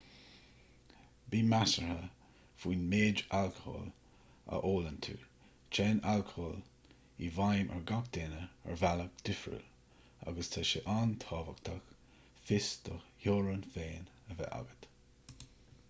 bí measartha faoin méid alcóil a ólann tú téann alcól i bhfheidhm ar gach duine ar bhealach difriúil agus tá sé an-tábhachtach fios do theorann féin a bheith agat